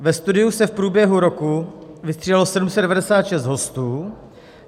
Ve studiu se v průběhu roku vystřídalo 796 hostů.